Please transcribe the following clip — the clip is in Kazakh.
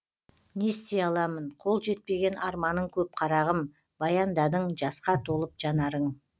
не істей аламын қол жетпеген арманың көп қарағым баяндадың жасқа толып жанарың